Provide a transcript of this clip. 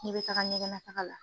N'i bɛ taga ɲɛgɛn lataga la